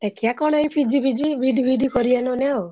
ଦେଖିଆ କଣ ଏଇ PG ଫିଜି B.Ed ଫିଇଡି କରିଆ ନହେଲେ ଆଉ।